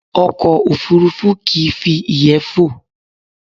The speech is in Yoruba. Ọkọ̀ òfurufú kìí fi ìyẹ́ fò